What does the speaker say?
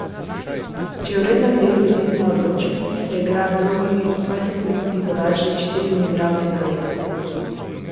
Če je v rednem delu izid neodločen, se igra dolgi, dvajsetminutni podaljšek s štirimi igralci na ledu.